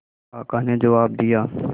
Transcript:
काका ने जवाब दिया